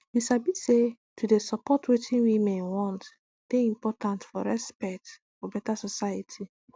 you sabi say to dey support wetin women want dey important for respect for beta society